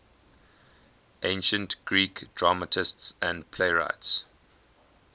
ancient greek dramatists and playwrights